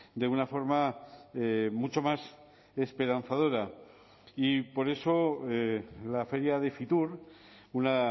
de una forma mucho más esperanzadora y por eso la feria de fitur una